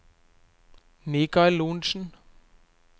Mikael Lorentzen